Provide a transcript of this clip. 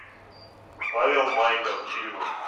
павел майков фильмы